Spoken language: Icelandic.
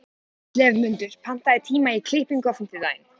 slefmundur, pantaðu tíma í klippingu á fimmtudaginn.